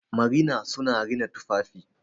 marina suna rina tufafi